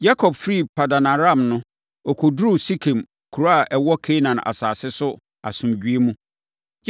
Yakob firii Paddan-Aram no, ɔkɔduruu Sekem kuro a ɛwɔ Kanaan asase so asomdwoeɛ mu.